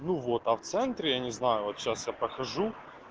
ну вот а в центре я не знаю вот сейчас я покажу